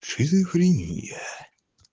шизофрения